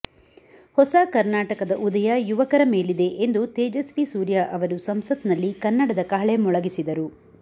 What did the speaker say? ಹೊಸ ಕರ್ನಾಟಕದ ಉದಯ ಯುವಕರ ಮೇಲಿದೆ ಎಂದು ತೇಜಸ್ವಿ ಸೂರ್ಯ ಅವರು ಸಂಸತ್ನಲ್ಲಿ ಕನ್ನಡದ ಕಹಳೆ ಮೊಳಗಿಸಿದರು